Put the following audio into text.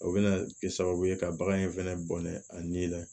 O bɛna kɛ sababu ye ka bagan in fɛnɛ bɔnɛ a ni la